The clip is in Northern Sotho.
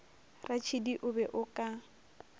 ratšhidi o be o ka